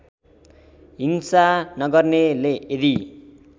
हिंसा नगर्नेले यदि